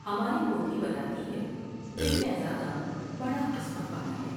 ہماری پوتھی بتاتی ہے کہ شہزادہ بڑا قسمت والا ہے ۔